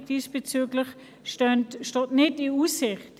Eine diesbezügliche Budgeterweiterung steht also nicht in Aussicht.